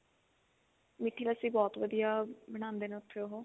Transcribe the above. ਮਿੱਠੀ ਲੱਸੀ but ਵਧੀਆ ਬਣਾਉਂਦੇ ਨੇ ਉਹ